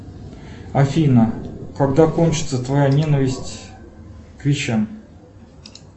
афина когда кончится твоя ненависть к вещам